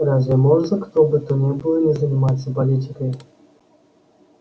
разве может кто бы то ни было не заниматься политикой